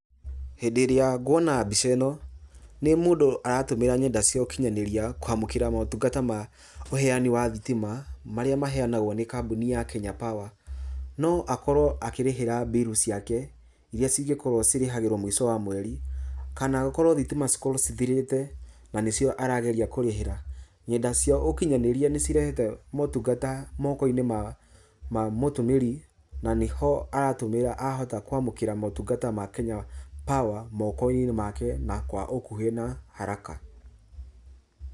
Hĩndĩ ĩrĩa nguona mbica ĩno, nĩ mũndũ aratũmĩra ngenda cia ũkinyanĩria kwamũkĩra motungata ma ũheani wa thitima, marĩa maheanagwo nĩ kambuni ya Kenya Power, no akorwo akĩrĩhĩra biru ciake, iria cingĩkorwo cirĩhagĩrwo mũico wa mweri, kana akorwo thitima cikorwo cithirĩte, na nĩ cio arageria kũrĩhĩra, ng'enda cia ũkinyanĩria nĩ cirehete motungata moko-inĩ ma mũtũmĩri, na nĩho arahota kwamũkĩra motungata ma Kenya Power, moko-inĩ make, na kwa ũkuhĩ na kwa [CS haraka.